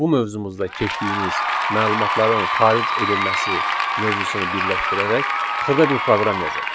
bu mövzumuzda keçdiyimiz məlumatların xaric edilməsi mövzusunu birləşdirərək xırda bir proqram yazaq.